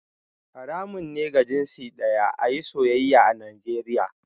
Haramun ne ga jinsi daya a yi soyayya a Najeriya